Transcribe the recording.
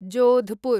Jodhpur